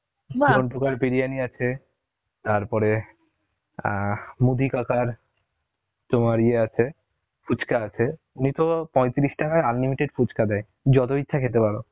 ঝন্টু কার বৃর্যনি আছে, তার পরে, অ্যাঁ মুদি কাকার তোমার ইয়ে আছে, ফুচকা আছে, উনিতো পঁয়ত্রিশ টাকায় unlimited ফুচকা দেয়, যত ইচ্ছা খেতে পারো